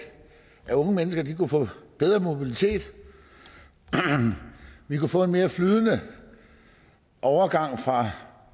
unge mennesker kunne få bedre mobilitet vi kunne få en mere flydende overgang fra